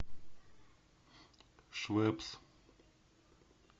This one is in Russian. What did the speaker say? швепс